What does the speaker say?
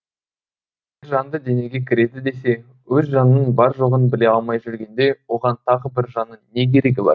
жанды денеге кіреді десе өз жанының бар жоғын біле алмай жүргенде оған тағы бір жанның не керегі бар